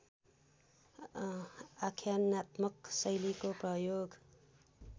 आख्यानात्मक शैलीको प्रयोग